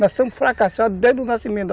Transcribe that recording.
Nós somos fracassados desde o nascimento da